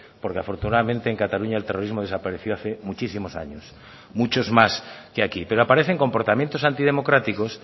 porque afortunadamente en cataluña el terrorismo desapareció hace muchísimos años muchos más que aquí pero aparecen comportamientos antidemocráticos